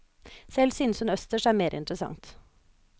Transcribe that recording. Selv synes hun østers er mer interessant.